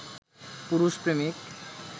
পুরুষ প্রেমিক